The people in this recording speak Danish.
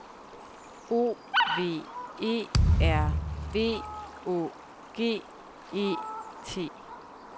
O V E R V Å G E T